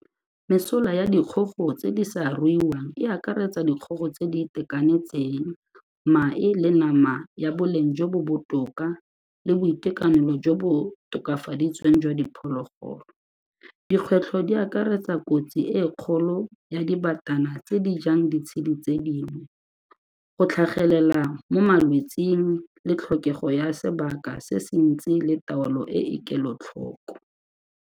Mesola ya dikgogo tse di sa ruiwang e akaretsa dikgogo tse di itekanetseng, mae le nama ya boleng jo bo botoka le boitekanelo jo bo tokafaditsweng jwa diphologolo. Dikgwetlho di akaretsa kotsi e kgolo ya dibatana tse di jang ditshedi tse dingwe, go tlhagelela mo malwetseng le tlhokego ya sebaka se se ntsi le taolo e e kelotlhoko.